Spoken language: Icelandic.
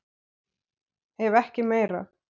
Ef ekki meira.